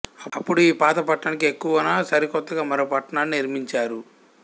అపుడూ ఈ పాత పట్టణానికి ఎగువన సరికొత్తగా మరో పట్టణాన్ని నిర్మించారు